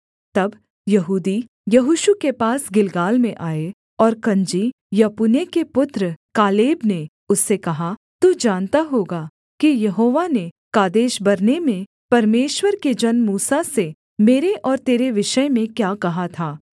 तब यहूदी यहोशू के पास गिलगाल में आए और कनजी यपुन्ने के पुत्र कालेब ने उससे कहा तू जानता होगा कि यहोवा ने कादेशबर्ने में परमेश्वर के जन मूसा से मेरे और तेरे विषय में क्या कहा था